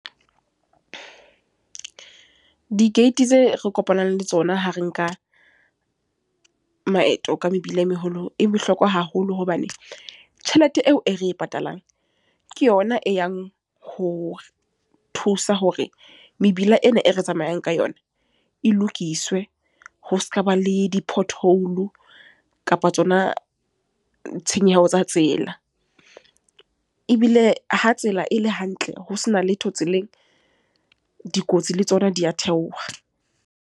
Di-gate tse re kopanang le tsona, ha re nka maeto ka mebila e meholo. E bohlokwa haholo. Hobane, tjhelete eo e re e patalang. Ke yona e yang hore thusa hore mebila ena e re tsamayang ka yona e lokiswe, ho sekaba le di-pothole kapa tsona tshenyeho tsa tsela. Ebile ha tsela e le hantle, ho sena letho tseleng. Dikotsi le tsona di a theoha.